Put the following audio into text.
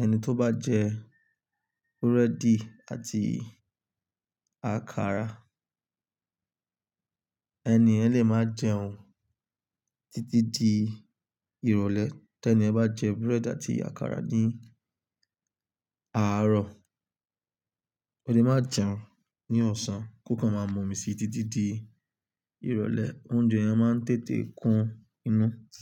Ẹni tó bá jẹ búrẹ́dì àti àkàrà, ẹni yẹ́n le máa jẹun títí di ìrọ̀lẹ́. Tí ẹni bá jẹ búrẹ́dì àti àkàrà ní àárọ̀, ọ́ le máa jẹun ní ọ̀sán kó kan máa mọ́ mi sí títí di ìrọ̀lẹ́. Oúnjẹ yẹn máa ń tètè kún inú.